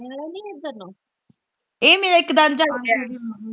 ਚਾੜਨੇ ਆਲਾ ਨਹੀਂ ਇਧਰ ਨੂੰ